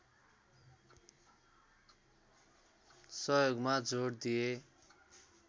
सहयोगमा जोड दिए